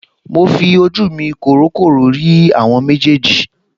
Mo fi ojú mi kòrókòró rí àwọn méjèèjì